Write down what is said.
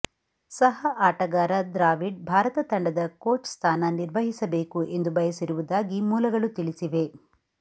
ಸಹ ಆಟಗಾರ ದ್ರಾವಿಡ್ ಭಾರತ ತಂಡದ ಕೋಚ್ ಸ್ಥಾನ ನಿರ್ವಹಿಸಬೇಕು ಎಂದು ಬಯಸಿರುವುದಾಗಿ ಮೂಲಗಳು ತಿಳಿಸಿವೆ